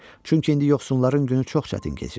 Çünki indi yoxsulların günü çox çətin keçir.